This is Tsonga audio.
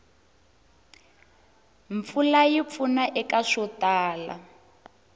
mpfula yi pfuna eka swo tala